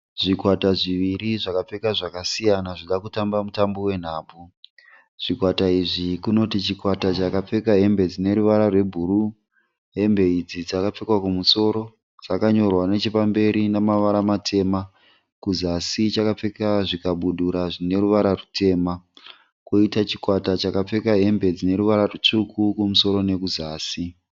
Zvikwata zviri zvakapfeka zvakasiyana zvinoda kutamba mutambo wenhabvu. Zvikwata izvi kunoti chikwata chakapfeka hembe dzine ruvara rwebhuru. Hembe idzi dzakapfekwa kumusoro dzakanyorwa nechepamberi nemavara matema. Kuzasi chakapfeka zvikabudura zvine ruvara rutema. Koita chikwata chakapfeka hembe dzine ruvara rutsvuku kumusoro nekuzasi.